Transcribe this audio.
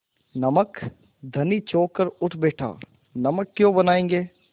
नमक धनी चौंक कर उठ बैठा नमक क्यों बनायेंगे